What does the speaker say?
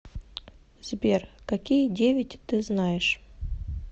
сбер какие девять ты знаешь